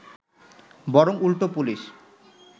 বরং উল্টো পুলিশ